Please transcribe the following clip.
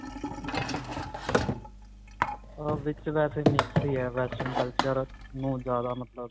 ਅਅ ਵਿਚ ਵੈਸੇ mix ਹੀ ਹੈ, western culture ਅਅ ਨੂੰ ਜਿਆਦਾ ਮਤਲਬ,